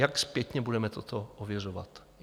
Jak zpětně budeme toto ověřovat?